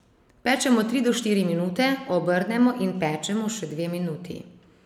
Pečemo tri do štiri minute, obrnemo, in pečemo še dve minuti.